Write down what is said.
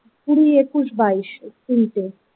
কুড়ি একুশ বাইশ এই তিনটে।